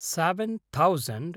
seven thousand